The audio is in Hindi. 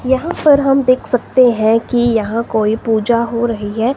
यहां पर हम देख सकते हैं की यहां कोई पूजा हो रही है।